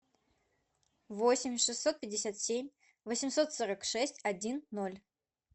восемь шестьсот пятьдесят семь восемьсот сорок шесть один ноль